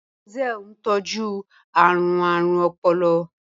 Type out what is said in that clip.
Banzel ń tọ́jú àrùn àrùn ọpọlọ.